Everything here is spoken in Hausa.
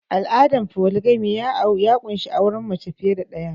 Al'adar foligami ya ƙunshi auren mace fiye da ɗaya